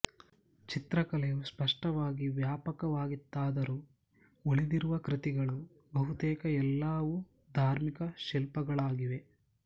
ಚಿತ್ರಕಲೆಯು ಸ್ಪಷ್ಟವಾಗಿ ವ್ಯಾಪಕವಾಗಿತ್ತಾದರೂ ಉಳಿದಿರುವ ಕೃತಿಗಳು ಬಹುತೇಕ ಎಲ್ಲವೂ ಧಾರ್ಮಿಕ ಶಿಲ್ಪಗಳಾಗಿವೆ